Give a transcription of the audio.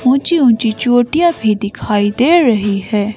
ऊंची-ऊंची चोटियां भी दिखाई दे रही है।